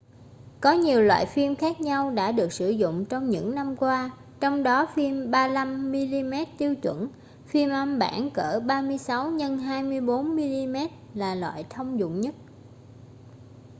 có nhiều loại phim khác nhau đã được sử dụng trong những năm qua. trong đó phim 35 mm tiêu chuẩn phim âm bản cỡ 36 x 24 mm là loại thông dụng nhất